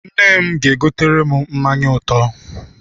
Nne m ga-egotere m mmanya ụtọ.